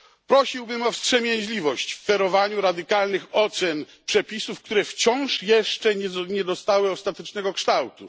Prosiłbym o wstrzemięźliwość w ferowaniu radykalnych ocen przepisów, które wciąż jeszcze nie dostały ostatecznego kształtu.